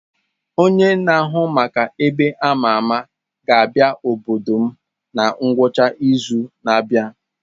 Onye na-ahụ maka ebe a ma ama ga-abịa n'obodo m na ngwụcha izu na-abịa.